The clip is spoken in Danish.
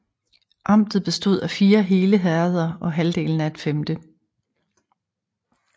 Amtet bestod af fire hele herreder og halvdelen af et femte